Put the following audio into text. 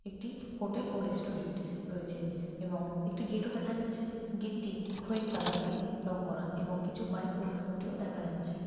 একটি হোটেল ও রেস্টুরেন্ট রয়েছে এবং একটি গেট ও দেখা যাচ্ছে। গেট টি খয়েরী কালার দিয়ে রং করা এবং কিছু বাইক ও স্কুটিও ও দেখা যাচ্ছে।